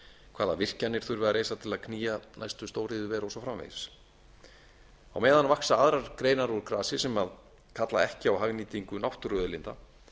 hvaða virkjanir þurfi að reisa til að knýja næstu stóriðjuver og svo framvegis á meðan vaxa aðrar greinar úr grasi sem kalla ekki á hagnýtingu náttúruauðlinda en